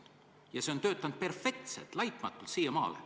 Ja see on siiamaale töötanud perfektselt, laitmatult.